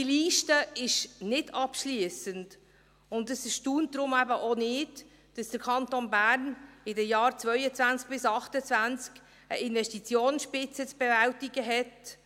Diese Liste ist nicht abschliessend, und es erstaunt deshalb auch nicht, dass der Kanton Bern in den Jahren 2022–2028 eine Investitionsspitze zu bewältigen hat.